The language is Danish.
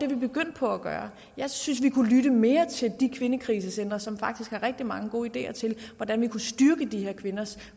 vi begyndt på at gøre jeg synes vi kunne lytte mere til de kvindekrisecentre som faktisk har rigtig mange gode ideer til hvordan vi kunne styrke de her kvinders